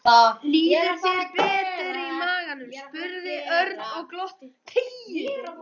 Líður þér betur í maganum? spurði Örn og glotti.